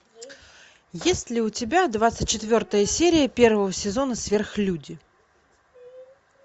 есть ли у тебя двадцать четвертая серия первого сезона сверхлюди